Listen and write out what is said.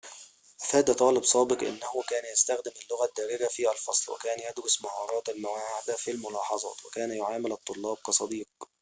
أفاد طالب سابق إنه كان يستخدم اللغة الدارجة في الفصل وكان يدرس مهارات المواعدة في الملاحظات وكان يعامل الطلاب كصديق